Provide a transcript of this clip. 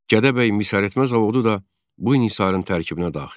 Gədəbəy misəritmə zavodu da bu inhisarın tərkibinə daxil idi.